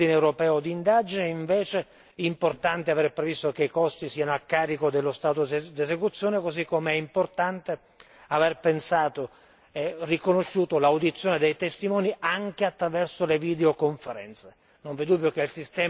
Per quanto riguarda l'ordine europeo d'indagine, invece, è importante avere previsto che i costi siano a carico dello Stato d'esecuzione, così come è importante aver pensato e riconosciuto l'audizione dei testimoni anche attraverso le videoconferenze.